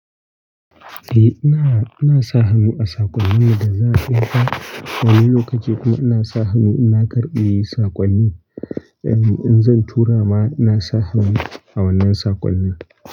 Eh ina, ina sa hannu a sakonnin da za a ɗinka. Wani lokaci kuma ina sa hannu ina karɓi sakonni. Eh, in zan tura ma, na sa hannu a wannan sakonnin.